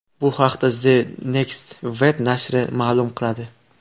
Bu haqda The Next Web nashri ma’lum qiladi.